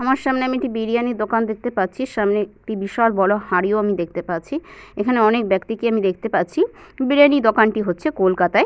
আমার সামনে আমি একটি বিরিয়ানি দোকান দেখতে পাচ্ছি। সামনে একটি বিশাল বড় হাড়িও আমি দেখতে পাচ্ছি । এখানে অনেক ব্যক্তিকে আমি দেখতে পাচ্ছি বিরিয়ানি দোকানটি হচ্ছে কলকাতা -য়।